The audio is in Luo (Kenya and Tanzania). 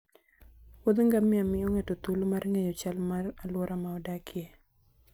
Wuoth ngamia miyo ng'ato thuolo mar ng'eyo chal mar alwora ma odakie.